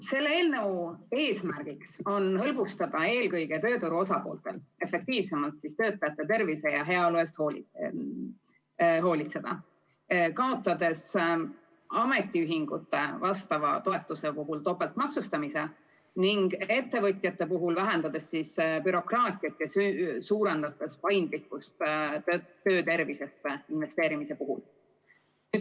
Selle eelnõu eesmärk on eelkõige hõlbustada tööturu osapooltel efektiivsemalt tervise ja heaolu eest hoolitsemist, kaotades ametiühingute vastava toetuse puhul topeltmaksustamise ning ettevõtjate puhul vähendades bürokraatiat ja suurendades paindlikkust töötervisesse investeerimisel.